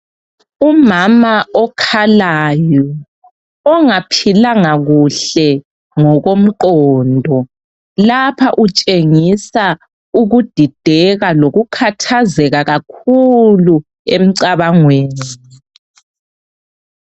Umama okhalayo ongaphilanga kuhle ngokomqondo lapha utshengisa ukudideka lokukhathazeka kakhulu emcabangweni.